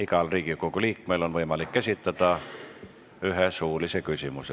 Igal Riigikogu liikmel on võimalik esitada üks suuline küsimus.